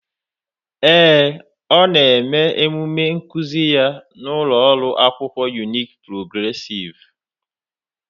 Ee e, ọ na-eme omume nkuzi ya n'ụlọ akwụkwọ Unique Progressive.